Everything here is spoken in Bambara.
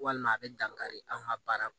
Walima a bɛ dankari an ka baara